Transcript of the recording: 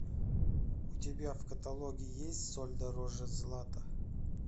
у тебя в каталоге есть соль дороже злата